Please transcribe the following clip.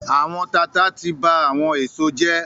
“Àwọn tata” ti ba àwọn èso jẹ́.